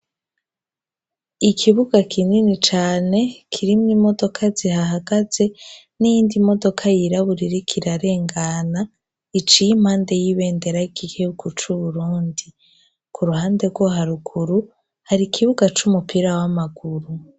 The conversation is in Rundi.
ikibuga kinini cane kirimwo imodoka zihahagaze niyindi modoka yiraburirikirarengana iciye impande y'ibendera ikikey kuca uburundi ku ruhande rwo haruguru hari ikibuga c'umupira w'amaguru